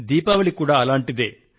దీపావళి కూడా అటువంటిదే